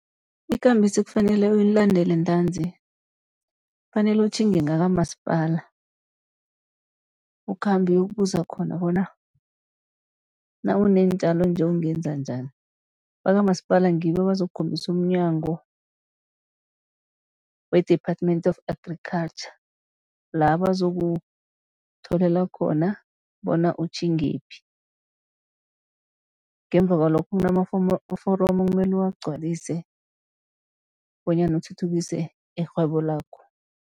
Ikambiso ekufanele uyilandele ntanzi, kufanele utjhinge ngakwamasipala, ukhambe uyokubuza khona bona nawuneentjalo nje ungenza njani, bakwamasipala ngibo abazokukhombisa umNyango we-Department of Agriculture la bazokutholela khona bona utjhingephi. Ngemva kwalokho kunama foromo ekumele uwagcwalise bonyana uthuthukise irhwebo lakho.